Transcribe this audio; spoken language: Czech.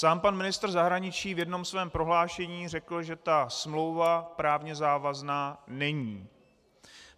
Sám pan ministr zahraničí v jednom svém prohlášení řekl, že ta smlouva právně závazná není.